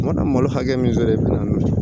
Ma da malo hakɛ min sɔrɔ i bɛna